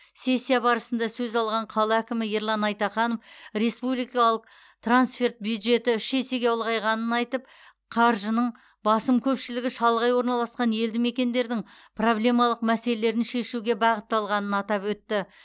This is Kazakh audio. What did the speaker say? сессия барысында сөз алған қала әкімі ерлан айтаханов республикалық трансферт бюджеті үш есеге ұлғайғанын айтып қаржының басым көпшілігі шалғай орналасқан елді мекендердің проблемалық мәселелерін шешуге бағытталатынын атап өтті